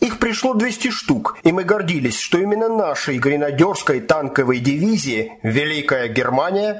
их пришло двести штук и мы гордились что именно нашей гренадерской танковой дивизии великая германия